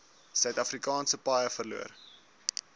suidafrikaanse paaie verloor